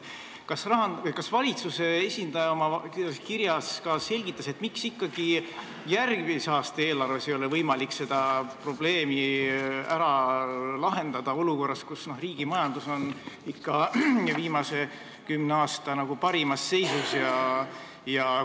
Kas valitsuse esindaja oma kirjas ka selgitas, miks ikkagi järgmise aasta eelarves ei ole võimalik seda probleemi ära lahendada, olukorras, kus riigi majandus on viimase kümne aasta parimas seisus?